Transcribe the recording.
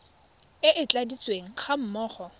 e e tladitsweng ga mmogo